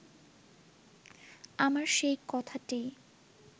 আমার সেই কথাটিই